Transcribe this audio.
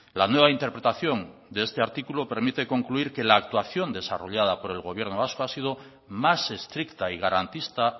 la nueva interpretación de este artículo permite concluir que la actuación desarrollada por el gobierno vasco ha sido más estricta y garantista